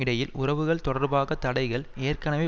இடையில் உறவுகள் தொடர்பாக தடைகள் ஏற்கனவே